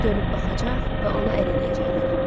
nəpərçi dönüb baxacaq və ona əl eləyəcəklər.